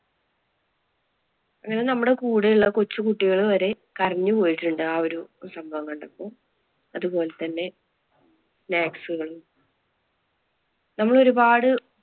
പിന്നെ നമ്മുടെ കൂടെ ഉള്ള കൊച്ചുകുട്ടികള് വരെ കരഞ്ഞു പോയിട്ടുണ്ട് ആ ഒരു സംഭവം കണ്ടപ്പോ. അതുപോലെ തന്നെ നമ്മൾ ഒരുപാട്